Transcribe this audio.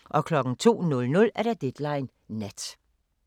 02:00: Deadline Nat